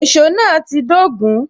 Èsó náà ti dogun